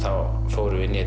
fórum inn í